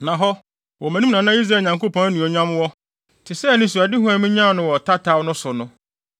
Na hɔ, wɔ mʼanim na na Israel Nyankopɔn anuonyam wɔ, te sɛ anisoadehu a minyaa no wɔ tataw no so no.